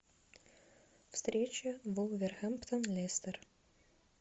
встреча вулверхэмптон лестер